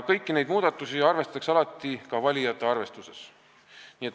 Kõiki neid muudatusi arvestatakse alati ka valijate arvestuses.